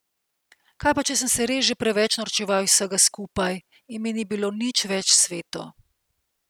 Kaj pa če sem se res že preveč norčeval iz vsega skupaj in mi ni bilo nič več sveto.